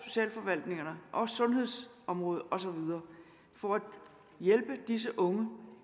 socialforvaltningerne og sundhedsområdet og så videre for at hjælpe disse unge